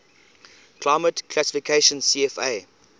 climate classification cfa